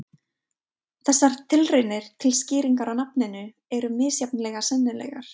Þessar tilraunir til skýringar á nafninu eru misjafnlega sennilegar.